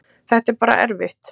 Þetta er bara erfitt